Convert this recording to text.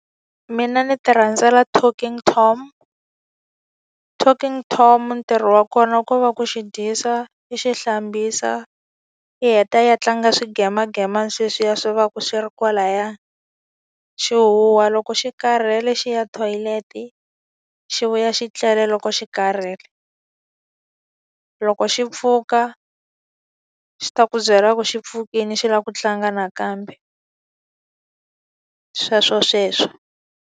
Mina ni ti rhandzela Talking Tom. Talking Tom ntirho wa kona ko va ku xi dyisa, i xi hlambisa, i heta yi ya tlanga swigayimanageyimana sweswi ya swi va ka swi ri kwalaya. Xi huha loko xi karhele, xi ya thoyilete, xi vuya xi tlele loko xi karhele. Loko xi pfuka xi ta ku byela ku xi pfukile xi lava ku tlanga nakambe, sweswo sweswo.